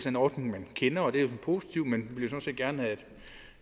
en ordning man kender og det er positivt men